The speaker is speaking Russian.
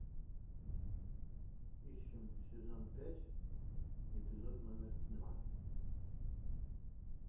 ищем сезон пять эпизод номер два